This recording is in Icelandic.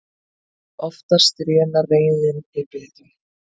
Oftast rénar reiðin í biðum.